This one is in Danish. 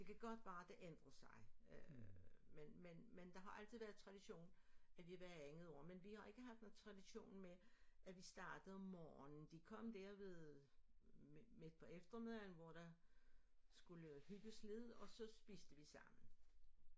Det kan godt være det ændrer sig men men men det har altid været tradition at vi hvert andet år men vi har ikke haft en tradition med at vi startede om morgenen de kom der ved midt på eftermiddagen hvor der skulle hygges lidt og så spiste vi sammen